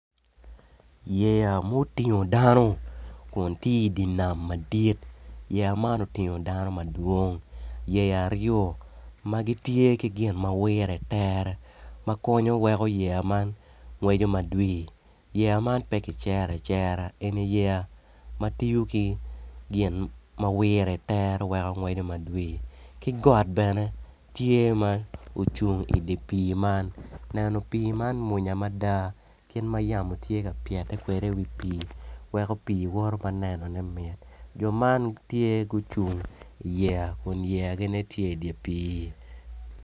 Yeya motingo dano kun tye idinam madit yeya man otingo dano madwong yeya aryo magitye ki gin mawire tere makonyo weko yeya man ngweco madwir yeya man pekicera acera eni yeya matiyo ki gin mawire tere weko ngweco madwir ki got bene tye ma ocung idipi man neno pi man mwonya mada kit ma yamo tye ka pyete kede i wi pi weko pi woto ma neno ne mit, jo man gitye gucung i yeya kun yeya gi nen tye idipi.